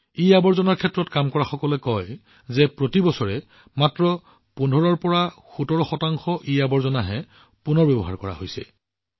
ইৱেষ্টৰ ক্ষেত্ৰত কাম কৰা সকলে কয় যে বৰ্তমান প্ৰতি বছৰে মাত্ৰ ১৫১৭ শতাংশ ইআৱৰ্জনা পুনৰ ব্যৱহাৰ কৰা হৈছে